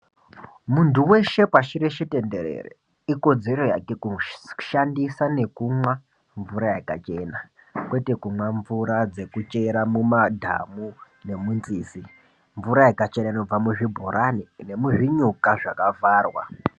Muntu weshe pashi reshe tenderere ikodzero yake kushandisa nekumwa mvura yakachena. Kwete kumwa mvura dzekuchera mumadhamu nemunzizi. Mvura yakachena inobva muzvibhorani nemuzvinyuka zvakakwarwa.